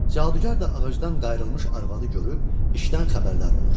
Cadugar da ağacdan qayırdılmış arvadı görüb işdən xəbərdar olur.